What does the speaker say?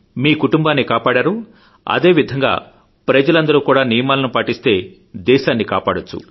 మీ కుటుంబాన్ని కాపాడారో అదేవిధంగా ప్రజలందరూ కూడా నియమాలను పాటిస్తే దేశాన్ని కాపాడొచ్చు